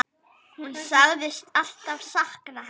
Hún sagðist alltaf sakna hennar.